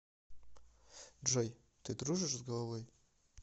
джой ты дружишь с головой